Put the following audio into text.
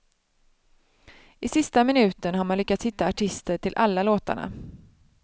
I sista minuten har man lyckats hitta artister till alla låtarna.